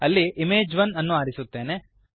ಅಲ್ಲಿ ಇಮೇಜ್1 ಅನ್ನು ಆರಿಸುತ್ತೇನೆ